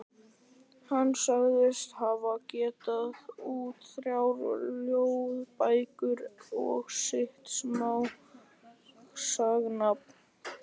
Hann sagðist hafa gefið út þrjár ljóðabækur og eitt smásagnasafn.